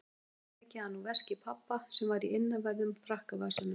Hún hafði tekið hann úr veski pabba sem var í innanverðum frakkavasanum.